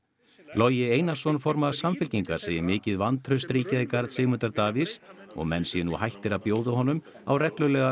Logi Einarsson formaður Samfylkingar segir mikið vantraust ríkja í garð Sigmundar Davíðs og menn séu nú hættir að bjóða honum á reglulega